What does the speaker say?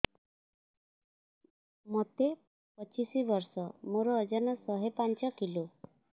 ମୋତେ ପଚିଶି ବର୍ଷ ମୋର ଓଜନ ଶହେ ପାଞ୍ଚ କିଲୋ